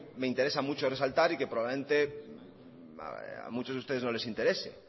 me interesa mucho resaltar y que probablemente a mucho de ustedes no les interese